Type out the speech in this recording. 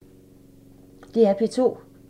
DR P2